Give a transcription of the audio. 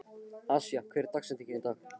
Asía, hver er dagsetningin í dag?